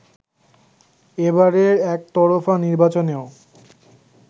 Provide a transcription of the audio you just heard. এবারের একতরফা নির্বাচনেও